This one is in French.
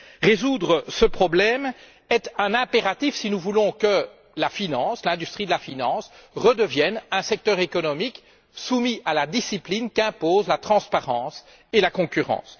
Résoudre ce problème est un impératif si nous voulons que l'industrie de la finance redevienne un secteur économique soumis à la discipline qu'imposent la transparence et la concurrence.